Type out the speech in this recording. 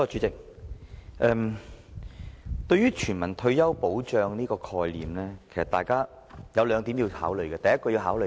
代理主席，對於全民退休保障這個概念，大家應該從兩方面考慮。